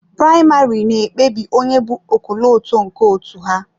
Praịmarị na-ekpebi onye bu ọkọlọtọ nke otu ahụ.